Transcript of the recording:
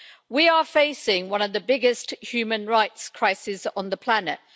We are facing one of the biggest human rights crisis on the planet.